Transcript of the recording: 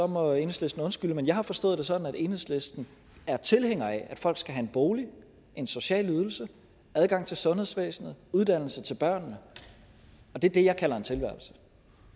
må enhedslisten undskylde men jeg har forstået det sådan at enhedslisten er tilhænger af at folk skal have en bolig en social ydelse adgang til sundhedsvæsenet uddannelse til børnene og det er det jeg kalder en tilværelse